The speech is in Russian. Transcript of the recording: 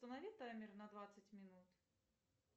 установи таймер на двадцать минут